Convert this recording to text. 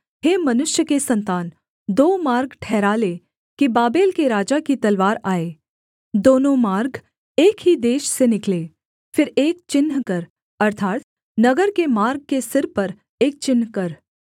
हे मनुष्य के सन्तान दो मार्ग ठहरा ले कि बाबेल के राजा की तलवार आए दोनों मार्ग एक ही देश से निकलें फिर एक चिन्ह कर अर्थात् नगर के मार्ग के सिर पर एक चिन्ह कर